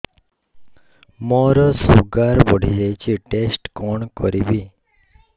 ମୋର ଶୁଗାର ବଢିଯାଇଛି ଟେଷ୍ଟ କଣ କରିବି